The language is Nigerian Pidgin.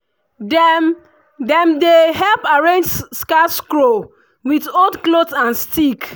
dem dem dey help arrange scarecrow with old cloth and stick.